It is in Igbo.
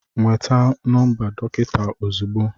Nweta nọmba dọkịta ozugbo